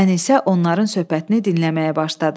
Ənisə onların söhbətini dinləməyə başladı.